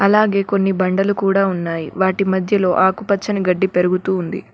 అలాగే కొన్ని బండలు కూడా ఉన్నాయి వాటి మధ్యలో ఆకుపచ్చని గడ్డి పెరుగుతూ ఉంది.